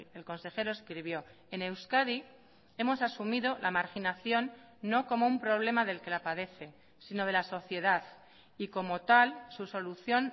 el consejero escribió en euskadi hemos asumido la marginación no como un problema del que la padece sino de la sociedad y como tal su solución